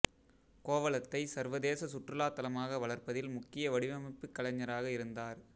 கோவளத்தை சர்வதேச சுற்றுலா தலமாக வளர்ப்பதில் முக்கிய வடிவமைப்புக் கலைஞராக இருந்தார்